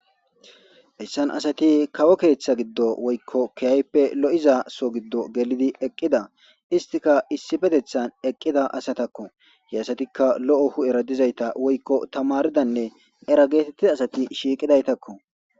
issan asati kawo keeththa giddo woykko kiyayppe lo7iza so giddo gelidi eqqida istika issibetethan eqqida asatakko he asatikka lo7o hu7era dizayta woykko tamaridanne era geetettida asati shiiqidaytakko